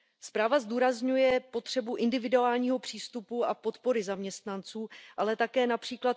Zpráva zdůrazňuje potřebu individuálního přístupu a podpory zaměstnanců, ale také např.